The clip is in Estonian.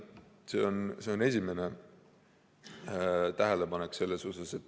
See on esimene tähelepanek.